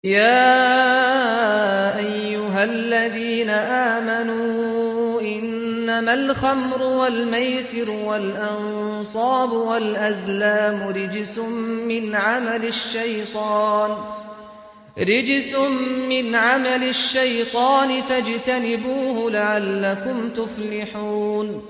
يَا أَيُّهَا الَّذِينَ آمَنُوا إِنَّمَا الْخَمْرُ وَالْمَيْسِرُ وَالْأَنصَابُ وَالْأَزْلَامُ رِجْسٌ مِّنْ عَمَلِ الشَّيْطَانِ فَاجْتَنِبُوهُ لَعَلَّكُمْ تُفْلِحُونَ